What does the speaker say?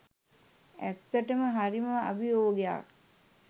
ඇත්තටම හරිම අභියෝගයක්